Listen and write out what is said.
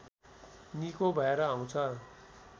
निको भएर आउँछ